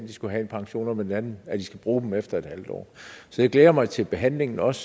de skulle have en pension og på den anden side at de skal bruge den efter en halv år så jeg glæder mig til behandlingen også